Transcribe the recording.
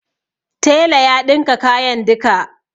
Tela ya ɗinka kayan duka.